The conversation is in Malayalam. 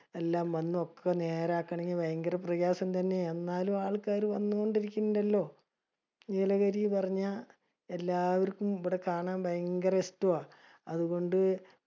എല്ലാം വന്ന് ഒക്കെ നേരാക്നെങ്ങി ഭയങ്കര പ്രയാസം തന്നെ ആണ്. എന്നാലും ആൾക്കാര് വന്നൊണ്ട് ഇരികിണ്ടല്ലോ. നീലഗിരി പറഞ്ഞ എല്ലാവർക്കും ഇബടെ കാണാൻ ഭയങ്കര ഇഷ്ട്ടമാ. അതുകൊണ്ട്